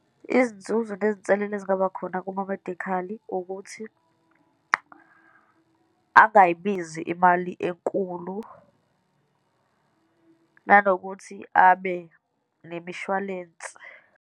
Izinzuzo nezinselela ezingaba khona kuma medikhali, ukuthi angayibizi imali enkulu, nanokuthi abe nemishwalense.